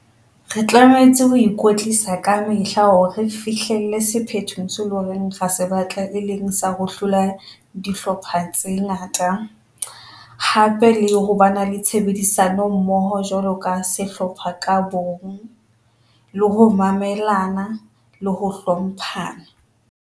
Re tlametse ho ikwetlisa ka mehla hore re fihlelle sephetho se loreng ra se batla, e leng sa ho hlola dihlopha tse ngata, hape le ho ba na le tshebedisano mmoho jwalo ka sehlopha ka bong, le ho mamelana le ho hlomphana.